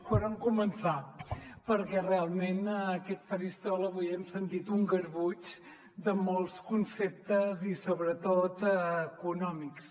per on començar perquè realment en aquest faristol avui hem sentit un garbuix de molts conceptes i sobretot econòmics